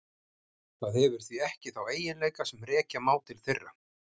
Það hefur því ekki þá eiginleika sem rekja má til þeirra.